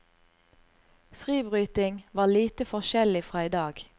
Fribryting var lite forskjellig fra i dag.